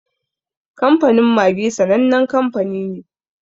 Kamfanin Maggi sanannen kanfani ne.